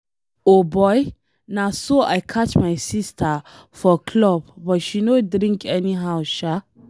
O boy, na so I catch my sister for club but she no drink anyhow sha.